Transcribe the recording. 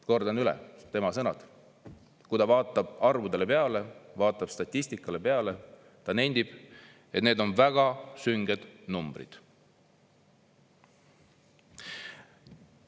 " Kordan üle, tema sõnad: kui ta vaatab arvudele peale, vaatab statistikale peale, ta nendib, et need on väga sünged numbrid.